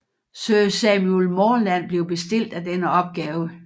Sir Samuel Morland blev bestilt af denne opgave